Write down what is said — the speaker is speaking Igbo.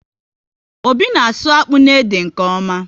Obi na asụ akpụ na ede nke ọma